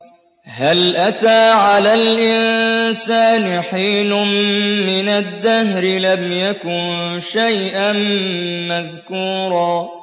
هَلْ أَتَىٰ عَلَى الْإِنسَانِ حِينٌ مِّنَ الدَّهْرِ لَمْ يَكُن شَيْئًا مَّذْكُورًا